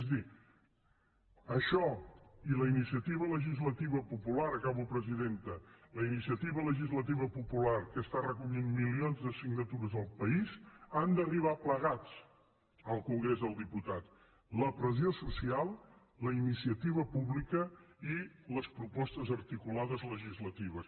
és a dir això i la iniciativa legislativa popular acabo presidenta que està recollint milions de signatures al país han d’arribar plegats al congrés dels diputats la pressió social la iniciativa pública i les propostes articulades legislatives